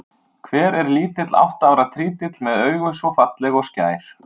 Hver er lítill átta ára trítill með augu svo falleg og skær?